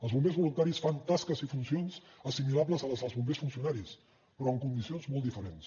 els bombers voluntaris fan tasques i funcions assimilables a les dels bombers funcionaris però en condicions molt diferents